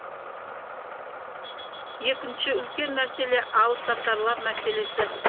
екінші үлкен мәселе алыпсатарлар мәселесі